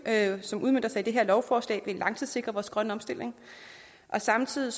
som udmøntes i dette lovforslag vil langtidssikre vores grønne omstilling og samtidig